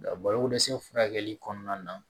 Nka balokodɛsɛ furakɛli kɔnɔna na